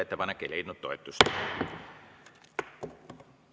Ettepanek ei leidnud toetust.